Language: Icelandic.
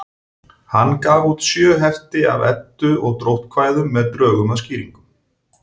Hann gaf út sjö hefti af Eddu- og dróttkvæðum með drögum að skýringum.